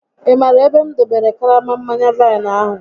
Ị maara ebe m dobere karama mmanya vaịnụ ahụ?